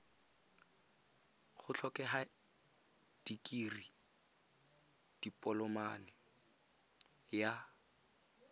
go tlhokega dikirii dipoloma ya